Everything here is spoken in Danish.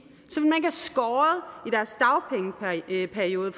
deres dagpengeperiode